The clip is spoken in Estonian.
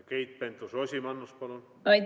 Keit Pentus-Rosimannus, palun!